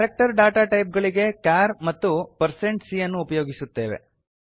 character data type ಗಳಿಗೆ char ಮತ್ತು160c ಅನ್ನು ಉಪಯೊಗಿಸುತ್ತೇವೆ